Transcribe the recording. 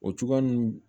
O cogoya nun